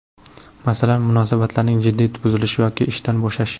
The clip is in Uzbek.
Masalan, munosabatlarning jiddiy buzilishi yoki ishdan bo‘shash.